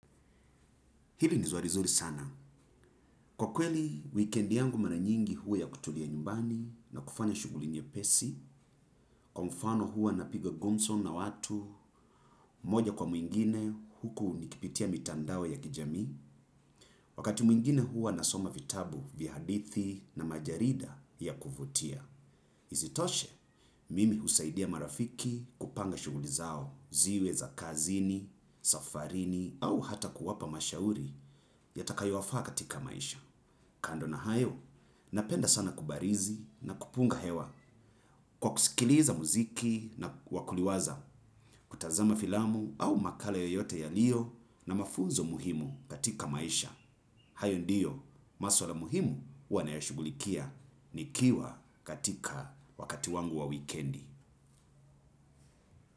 Hili nizwari zuri sana. Kwa kweli, weekendi yangu maranyingi huwa ya kutulia nyumbani na kufanya shuguli nyepesi, kwa mfano huwa na piga gumso na watu, moja kwa mwingine huku nikipitia mitandao ya kijami, wakati mwingine hua nasoma vitabu vya hadithi na majarida ya kuvutia. Izitoshe mimi husaidia marafiki kupanga shuguli zao ziwe za kazini, safarini au hata kuwapa mashauri yatakayo wafaa katika maisha. Kando na hayo, napenda sana kubarizi na kupunga hewa kwa kusikiliza muziki na wakuliwaza kutazama filamu au makala yoyote yalio na mafunzo muhimu katika maisha. Hayo ndiyo maswala muhimu uanayashugulikia nikiwa katika wakati wangu wa wikendi.